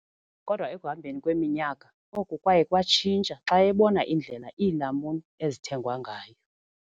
Kodwa ekuhambeni kweminyaka, oku kwaye kwatshintsha xa ebona indlela iilamuni ezithengwa ngayo.